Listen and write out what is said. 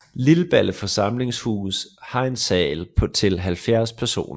Lilballe Forsamlingshus har en sal til 70 personer